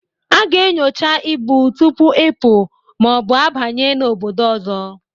A ga-enyocha ibu tupu ịpụ ma ọ bụ abanye na obodo ahụ